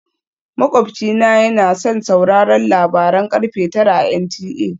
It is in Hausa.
Makwabci na yana son sauraron labaran karfe tara a NTA